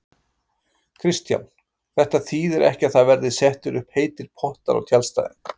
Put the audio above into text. Kristján: Þetta þýðir ekki að það verði settir upp heitir pottar á tjaldstæðin?